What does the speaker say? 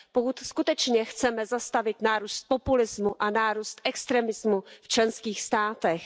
Pokud skutečně chceme zastavit nárůst populismu a nárůst extremismu v členských státech.